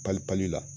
Pali pali la